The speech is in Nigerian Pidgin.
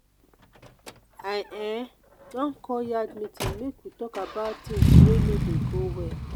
i um don call yard meeting make we tok about tins wey no dey go well.